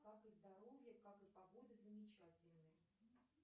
как и здоровье как и погода замечательные